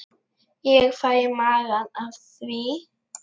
Ég fæ í magann af því.